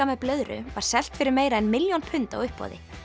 með blöðru var selt fyrir meira en milljón pund á uppboði